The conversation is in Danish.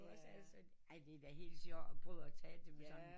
Ej det der er da helt sjovt at prøve at tale til dem